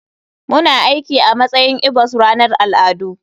Muna aiki a matsayin igbos a ranar al'adu.